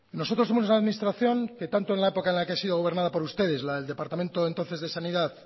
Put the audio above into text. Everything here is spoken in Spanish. nosotros somos la administración que tanto en la época en la que ha sido gobernada por ustedes la del departamento entonces de sanidad